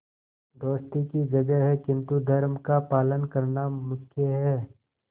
दोस्ती की जगह है किंतु धर्म का पालन करना मुख्य है